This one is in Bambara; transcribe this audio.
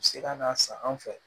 U bɛ se ka na san an fɛ